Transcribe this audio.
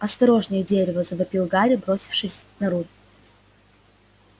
осторожнее дерево завопил гарри бросившись на руль